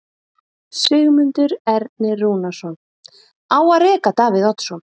Sigmundur Ernir Rúnarsson: Á að reka Davíð Oddsson?